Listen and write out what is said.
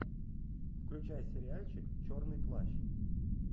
включай сериальчик черный плащ